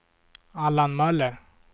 Allan Möller